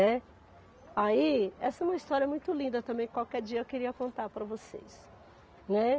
É. Aí essa é uma história muito linda também, qualquer dia eu queria contar para vocês, né.